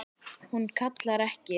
Hún kallar ekki